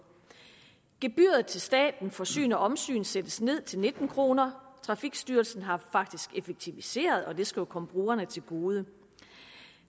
gebyret til staten for syn og omsyn sættes ned til nitten kroner trafikstyrelsen har faktisk effektiviseret og det skal jo komme brugerne til gode